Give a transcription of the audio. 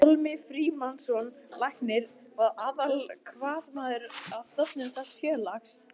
Pálmi Frímannsson læknir var aðalhvatamaður að stofnun þessa félags.